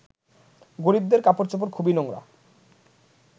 গরিবদের কাপড়চোপড় খুবই নোংরা